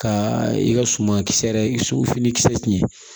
Ka i ka suman kisɛ yɛrɛ i fini kisɛ tiɲɛ